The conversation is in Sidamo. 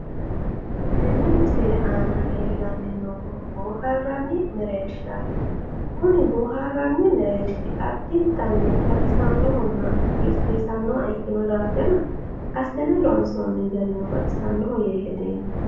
Tenne misile aana leellanni noohu boohaarranni mereershaati. Kuni boohaarranni mereershi addintanni baxisannohona hagiirsiisinoha ikkino daafira assine loonsoonni garino baxisannoho yee hedeemma.